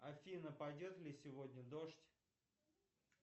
афина пойдет ли сегодня дождь